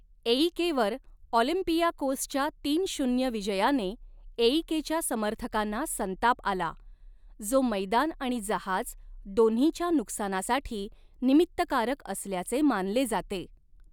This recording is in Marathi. एईकेवर ऑलिम्पियाकोसच्या तीन शून्य विजयाने, एईकेच्या समर्थकांना संताप आला, जो मैदान आणि जहाज दोन्हीच्या नुकसानासाठी निमित्तकारक असल्याचे मानले जाते.